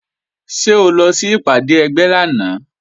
Ṣé o lọ sí ìpàdé ẹgbẹ́ lánàá?